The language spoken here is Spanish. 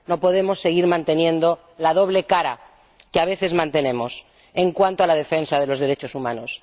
No podemos seguir manteniendo la doble cara —que, a veces, mantenemos— en cuanto a la defensa de los derechos humanos.